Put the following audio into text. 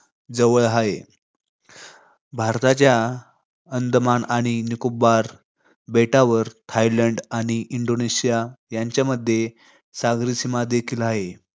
जवळ हाय. भारताच्या अंदमान आणि निकोबार बेटांवर थायलंड आणि इंडोनेशिया यांच्यामध्ये सागरी सीमा देखील हाय.